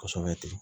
Kosɛbɛ ten